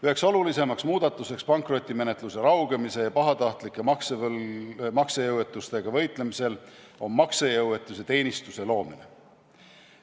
Üks olulisemaid muudatusi pankrotimenetluse raugemise ja pahatahtlike maksejõuetustega võitlemisel on maksejõuetuse teenistuse loomine.